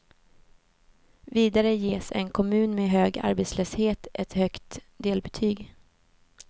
Vidare ges en kommun med hög arbetslöshet ett högt delbetyg.